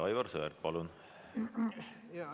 Aivar Sõerd, palun!